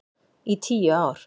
Í tíu ár.